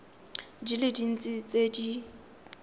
di le dintsi tse di